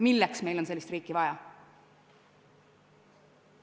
Milleks meil on sellist riiki vaja?